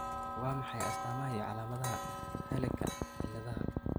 Waa maxay astamaha iyo calaamadaha Hurleka ciladaha?